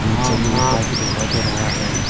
नीचे ईटा भी दिखाई दे रहा है।